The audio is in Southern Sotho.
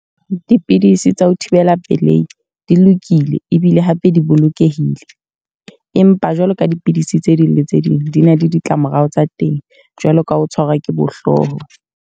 Dipidisi tsa ho thibela pelehi, di lokile ebile hape di bolokehile. Empa jwalo ka dipidisi tse ding le tse ding di na le ditlamorao tsa teng. Jwalo ka ho tshwarwa ke bo hlooho.